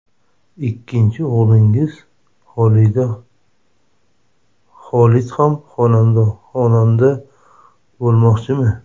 Ikkinchi o‘g‘lingiz, Xolid ham xonanda bo‘lmoqchimi?